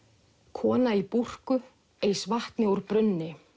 kona í búrku eys vatni úr brunni